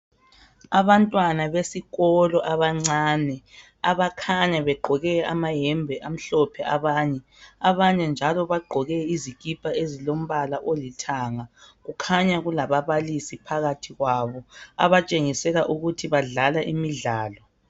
Abantwana besikolo abancane abakhanya begqoke amayembe amhlophe abanye , abanye bagqoke izikipa ezilombala olithanga kukhanya kulababalisi phakathi kwabo abatshengisela ukuba badlala imidlalo.